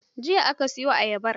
Jiya aka soye ayabar!